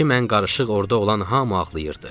İçi mən qarışıq orda olan hamı ağlayırdı.